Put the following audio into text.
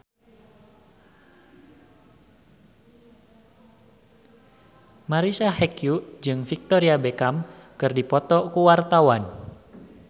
Marisa Haque jeung Victoria Beckham keur dipoto ku wartawan